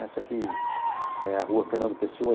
Essa aqui é a rua Fernando Pessoa.